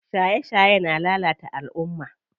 Shaye shaye na lalata alumma.